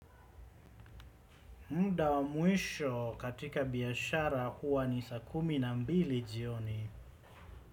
Mda wa muisho katika biashara huwa ni saa kumi na mbili jioni.